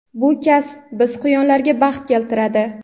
Bu kasb biz quyonlarga baxt keltiradi.